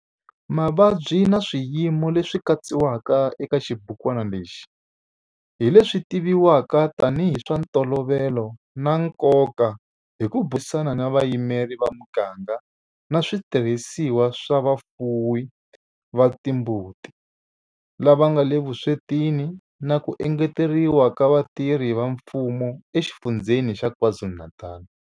Mavabyi na swiyimo leswi katsiwaka eka xibukwana lexi hi leswi tivivwaka tanihi hi swa ntolovelo na nkoka hi ku burisana na vayimeri va miganga na switirhisiwa swa vafuwi va timbuti lava nga le vuswetini na ku engeteriwa ka vatirhi va mfumo eXifundzheni xa KwaZulu-Natal.